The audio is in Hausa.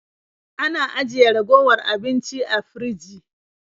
Ana ajiye ragowar abinci a firji.